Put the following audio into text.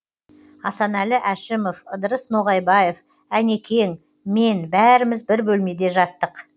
асанәлі әшімов ыдырыс ноғайбаев әнекең мен бәріміз бір бөлмеде жаттық